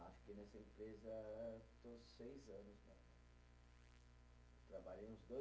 Ah, nessa empresa, estou seis anos, né? Trabalhei uns dois